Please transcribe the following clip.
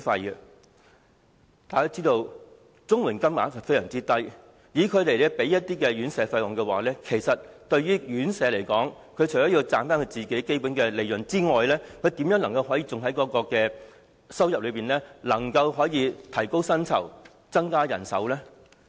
大家也知道，綜援金額非常低，以綜援支付院費的話，院舍除了要賺取基本利潤外，試問又如何能在收入中撥出金額來提高薪酬和增加人手呢？